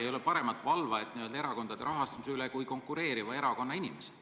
Ei ole paremat valvajat erakondade rahastamise üle kui konkureeriva erakonna inimesed.